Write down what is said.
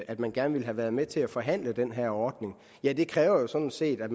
at man gerne ville have været med til at forhandle om den her ordning ja det kræver jo sådan set at